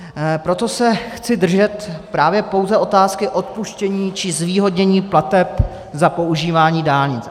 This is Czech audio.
Proto se chci držet právě pouze otázky odpuštění či zvýhodnění plateb za používání dálnic.